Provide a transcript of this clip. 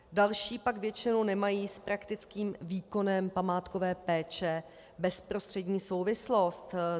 Další pak většinou nemají s praktickým výkonem památkové péče bezprostřední souvislost.